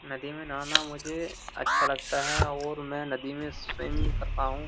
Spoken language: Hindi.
नदी में नहाना मुझे अच्छा लगता है और मैं नदी में स्विम करता हूं।